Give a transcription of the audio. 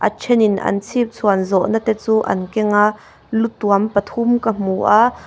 a then in an chhipchhuan zawh na te chu an keng a lu tuam pathum ka hmu a.